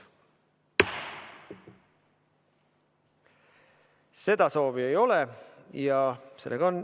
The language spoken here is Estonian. Seda soovi ei ole.